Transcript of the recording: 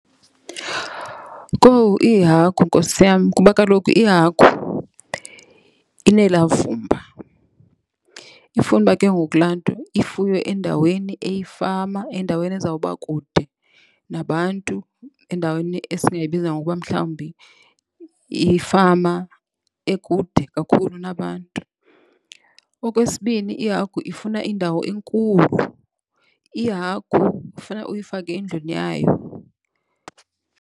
Kowu, iihagu nkosi yam kuba kaloku ihagu inelaa vumba. Ifuna uba ke ngoku laa nto ifuywe endaweni eyifama endaweni ezawuba kude nabantu endaweni esingayibiza ngokuba mhlawumbi yifama ekude kakhulu nabantu. Okwesibini, ihagu ifuna indawo enkulu. Ihagu ifuna uyifake endlwini yayo.